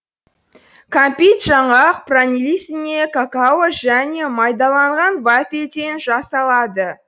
кәмпит жаңғақ пралинесіне какао және майдаланған вафельден жасалады